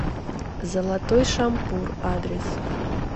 золотой шампур адрес